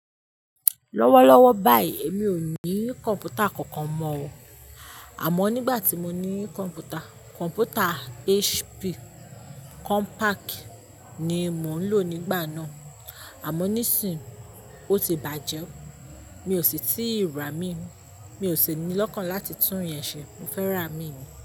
Lọ́wọ́lọ́wọ́ báyìí emi ò ní kọ̀npútà kankan mọ́ o. Àmọ́ nígbà tí mo ní kọ̀mpútà, kọ̀mpútà HP compact ni mò ń lò nígbà náà. Àmọ́ nísínyii ó ti bàjẹ́ o. Mi ò sì tíì ra míì. Mi ò sì ní lọ́kàn láti tún yẹn ṣẹ. Mo fẹ́ ra miì ni.